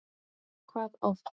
Hvað oft?